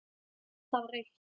Það var autt.